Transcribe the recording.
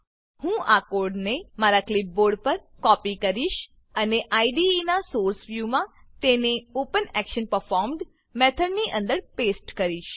હું આ કોડને મારા ક્લીપબોર્ડ પર કોપી કરીશ અને આઇડીઇ નાં સોર્સ સોર્સ વ્યુમાં તેને ઓપનેક્શનપરફોર્મ્ડ મેથડની અંદર પેસ્ટ કરીશ